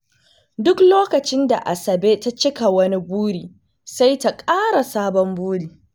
Duk lokacin da Asabe ta cika wani buri, sai ta ƙara sabon buri.